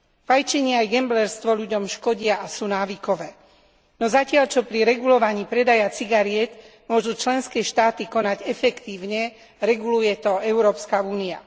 Fajčenie aj gamblerstvo ľuďom škodia a sú návykové. No zatiaľ čo pri regulovaní predaja cigariet môžu členské štáty konať efektívne, reguluje to Európska únia.